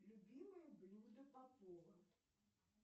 любимое блюдо попова